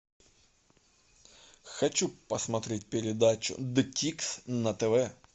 хочу посмотреть передачу де тикс на тв